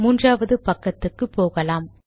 மூன்றாவது பக்கத்துக்கு போகலாம்